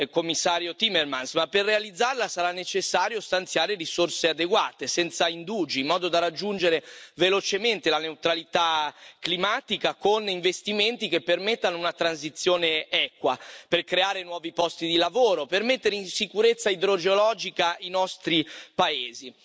Commissario Timmermans, ma per realizzarla sarà necessario stanziare risorse adeguate, senza indugi, in modo da raggiungere velocemente la neutralità climatica con investimenti che permettano una transizione equa, per creare nuovi posti di lavoro, per mettere in sicurezza idrogeologica i nostri paesi.